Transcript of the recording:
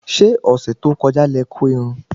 Ṣé ọ̀sẹ̀ tó kọja lẹ kó irun?